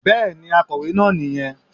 Bẹ́ẹ̀ni, akọ̀wé naa ni yẹn